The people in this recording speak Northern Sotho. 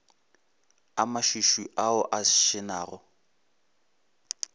a mašwišwi ao a šenago